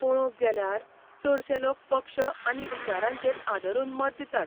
पळोवंक गेल्यार, चडशे लोक पक्ष आनी विचारांचेर आदरून मतां दितात.